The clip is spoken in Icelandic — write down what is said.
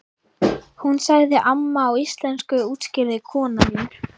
Hún sagði amma á íslensku útskýrði kona mín.